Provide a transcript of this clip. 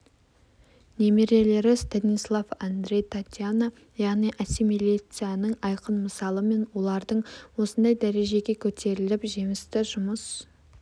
немерелері станислав андрей татьяна яғни ассимилицияның айқын мысалы мен олардың осындай дәрежеге көтеріліп жемісті жүмыс